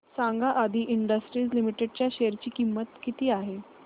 सांगा आदी industries limited च्या शेअर ची किंमत किती आहे